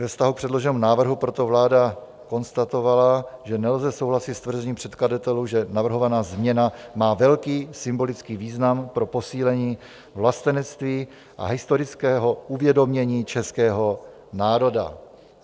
Ve vztahu k předloženému návrhu proto vláda konstatovala, že nelze souhlasit s tvrzením předkladatelů, že navrhovaná změna má velký symbolický význam pro posílení vlastenectví a historického uvědomění českého národa.